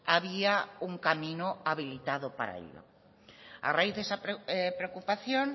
había un camino habilitado para ello a raíz de esa preocupación